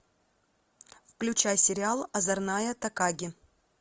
включай сериал озорная такаги